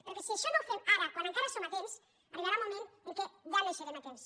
perquè si això no ho fem ara quan encara hi som a temps arribarà un moment en què ja no hi serem a temps